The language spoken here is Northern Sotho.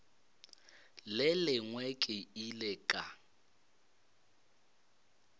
le lengwe ke ile ka